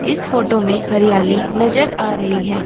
इस फोटो में हरियाली नजर आ रही है।